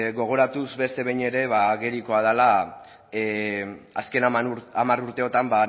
gogoratuz beste behin ere agerikoa dela azken hamar urteotan